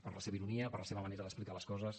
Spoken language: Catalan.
per la seva ironia per la seva manera d’explicar les coses